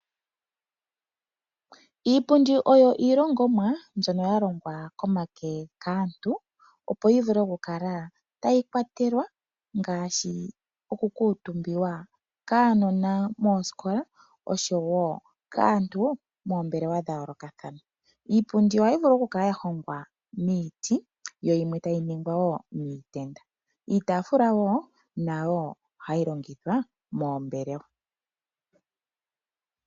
Iipundi oyo iilongomwa mbyono ya longwa komake kaantu opo yi vule oku kala tayi kwatelwa ngaashi oku kuutumbiwa kaanona moosikola oshowo kaantu moombelewa dha yoolokathana. Iipundi ohayi vulu oku kala ya hongwa miiti, yo yimwe tayi ningwa wo miitenda. Iitaafula wo nayo ohayi longithwa moombelewa.